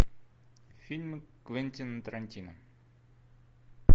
фильмы квентина тарантино